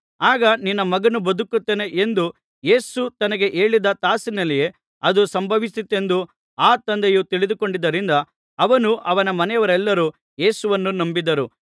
ಆಗ ನಿನ್ನ ಮಗನು ಬದುಕುತ್ತಾನೆ ಎಂದು ಯೇಸು ತನಗೆ ಹೇಳಿದ ತಾಸಿನಲ್ಲಿಯೇ ಅದು ಸಂಭವಿಸಿತೆಂದು ಆ ತಂದೆಯು ತಿಳಿದುಕೊಂಡದ್ದರಿಂದ ಅವನೂ ಅವನ ಮನೆಯವರೆಲ್ಲರೂ ಯೇಸುವನ್ನು ನಂಬಿದರು